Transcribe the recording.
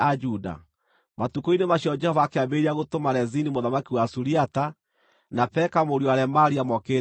(Matukũ-inĩ macio Jehova akĩambĩrĩria gũtũma Rezini mũthamaki wa Suriata, na Peka mũriũ wa Remalia, mokĩrĩre Juda.)